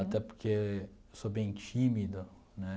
Até porque sou bem tímido, né?